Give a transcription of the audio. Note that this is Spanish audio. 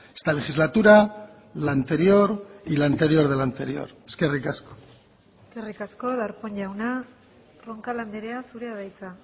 esta legislatura la anterior y la anterior de la anterior eskerrik asko eskerrik asko darpón jauna roncal andrea zurea da hitza